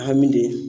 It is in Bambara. Ahamidi